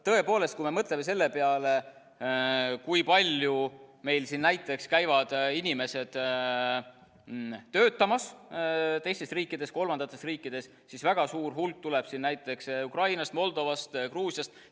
Tõepoolest, kui me mõtleme selle peale, kui palju meil näiteks käivad inimesed töötamas teistest riikidest, kolmandatest riikidest, siis väga suur hulk tuleb siia näiteks Ukrainast, Moldovast, Gruusiast.